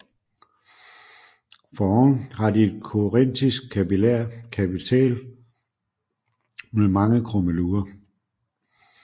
Foroven har de et korintisk kapitæl med mange krummelurer